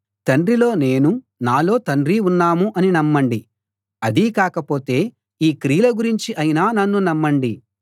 తండ్రిలో నేను నాలో తండ్రి ఉన్నాం అని నమ్మండి అదీ కాకపోతే ఈ క్రియల గురించి అయినా నన్ను నమ్మండి